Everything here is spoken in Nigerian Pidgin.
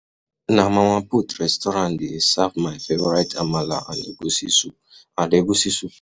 Na Mama Put restaurant dey serve my favorite amala and egusi soup and egusi soup